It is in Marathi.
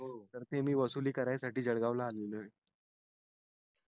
तर ते मी वसुली करायसाठी जळगाव ला आलेलो आहे